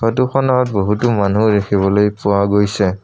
ফটোখনত বহুতো মানুহ দেখিবলৈ পোৱা গৈছে।